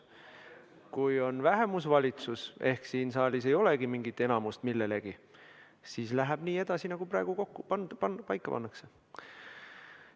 Kui on vähemusvalitsus ehk siin saalis ei olegi mingit enamust, siis läheb edasi nii, nagu praegu paika pannakse.